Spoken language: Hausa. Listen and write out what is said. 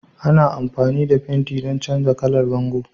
Ana amfani da fenti don canza kalar bango